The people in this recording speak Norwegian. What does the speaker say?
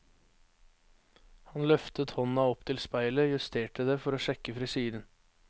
Han løftet hånda opp til speilet, justerte det for å sjekke frisyren.